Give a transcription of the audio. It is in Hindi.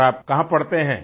और आप कहाँ पढ़ते हैं